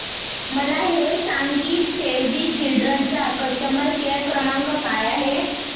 मला हे सांग की सेव्ह द चिल्ड्रेन चा कस्टमर केअर क्रमांक काय आहे